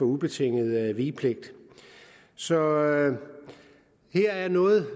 ubetinget vigepligt så her er noget